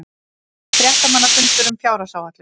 Fréttamannafundur um fjárhagsáætlun